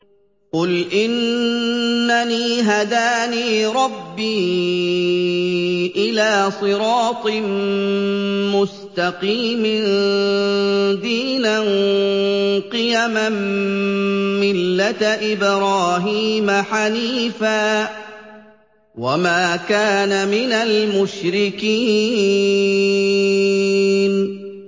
قُلْ إِنَّنِي هَدَانِي رَبِّي إِلَىٰ صِرَاطٍ مُّسْتَقِيمٍ دِينًا قِيَمًا مِّلَّةَ إِبْرَاهِيمَ حَنِيفًا ۚ وَمَا كَانَ مِنَ الْمُشْرِكِينَ